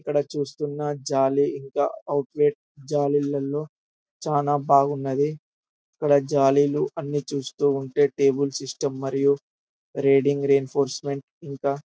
ఇక్కడ చుస్తున్నా జాలి ఇంకా ఔట్లెట్ జాలిలలో చాల బాగున్నది. ఇక్కడ జాలీలు అన్ని చూస్తుంటే టేబుల్ సిస్టం మరియు రీడింగ్ ఇంఫాసెమెంట్ ఇంకా --